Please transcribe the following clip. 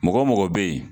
Mɔgɔ mɔgɔ bɛ ye